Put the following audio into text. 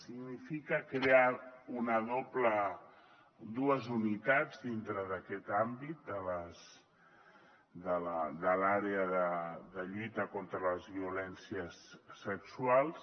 significa crear dues unitats dintre d’aquest àmbit de l’àrea de lluita contra les violències sexuals